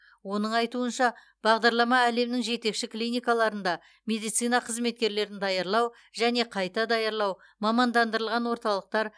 оның айтуынша бағдарлама әлемнің жетекші клиникаларында медицина қызметкерлерін даярлау және қайта даярлау мамандандырылған орталықтар